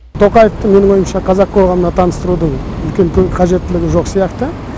тоқаевты менің ойымша қазақ қоғамына таныстырудың үлкен көп қажеттілігі жоқ сияқты